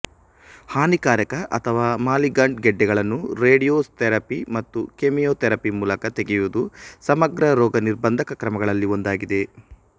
ಹಾನಿಕಾರಕ ಅಥವಾ ಮಾಲಿಗಂಟ್ ಗೆಡ್ಡೆಗಳನ್ನು ರೇಡಿಯೊ ನ್ಥೆರಪಿ ಮತ್ತು ಕೆಮಿಯೊಥೆರಪಿ ಮೂಲಕ ತೆಗೆಯುವುದು ಸಮಗ್ರ ರೋಗ ನಿರ್ಭಂಧಕ ಕ್ರಮಗಳಲ್ಲಿ ಒಂದಾಗಿದೆ